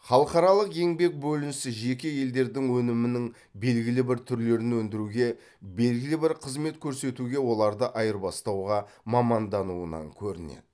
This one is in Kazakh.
халықаралық еңбек бөлінісі жеке елдердің өнімінің белгілі бір түрлерін өндіруге белгілі бір қызмет көрсетуге оларды айырбастауға мамандануынан көрінеді